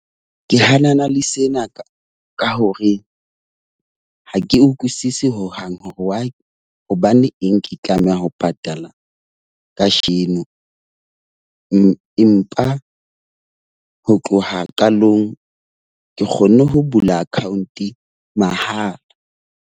Ke hanana le sena ka ka hore ha ke utlwisisi hohang hore hobane eng ke tlameha ho patala kajeno, empa ho tloha qalong ke kgonne ho bula account mahala.